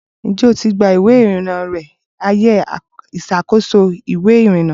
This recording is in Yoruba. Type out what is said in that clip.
Ǹjẹ́ o ti gba ìwé-ìrìnà rẹ ní ààyè ìṣàkóso ìwé-ìrìnà?